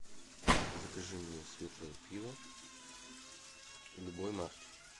закажи мне светлое пиво любой марки